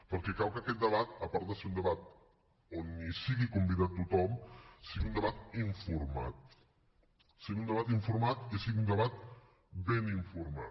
perquè cal que aquest debat a part de ser un debat on sigui convidat tothom sigui un debat informat i sigui un debat ben informat